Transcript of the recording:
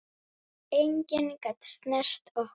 Enginn gat snert okkur.